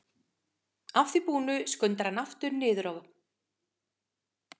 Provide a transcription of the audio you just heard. Að því búnu skundar hann aftur niður á